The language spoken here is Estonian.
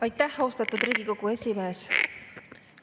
Aitäh, austatud Riigikogu esimees!